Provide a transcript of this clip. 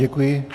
Děkuji.